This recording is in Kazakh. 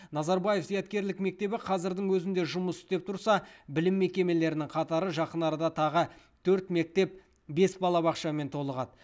назарбаев зияткерлік мектебі қазірдің өзінде жұмыс істеп тұрса білім мекемелерінің қатары жақын арада тағы төрт мектеп бес балабақшамен толығады